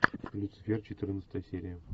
люцифер четырнадцатая серия